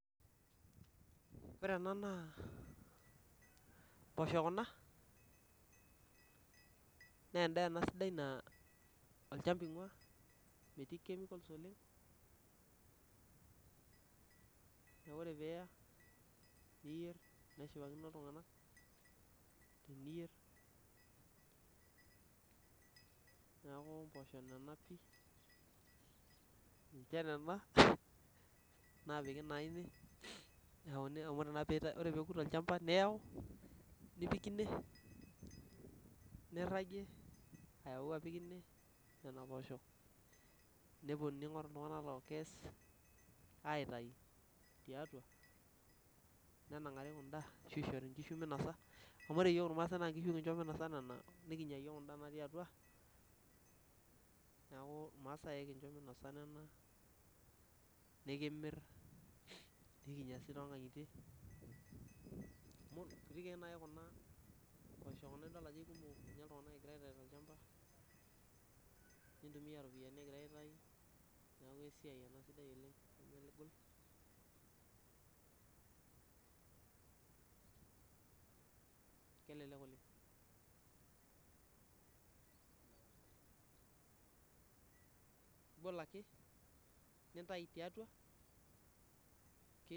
Ore ena naa mpoosho kuna naa endaa ena sidai naa olchamba inguaa metii chemicals oleng' ore eniya naa keshipakino iltung'anak teniyierr neeku mpooshu nena pii inche nena naapiki naa ine nirragi tinee apik ine ning'oru il